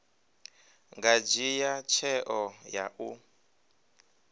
nga dzhia tsheo ya u